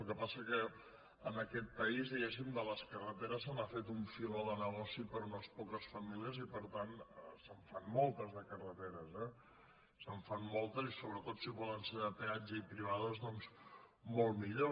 el que passa és que en aquest país diguéssim de les carreteres se n’ha fet un filó de negoci per a unes poques famílies i per tant se’n fan moltes de carreteres eh se’n fan moltes i sobretot si poden ser de peatge i privades doncs molt millor